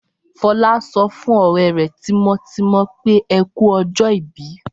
Fọlá sọ fún ọ̀rẹ́ rẹ̀ tímọ́tímọ́ pé Ẹ kú ọjọ́-ìbí.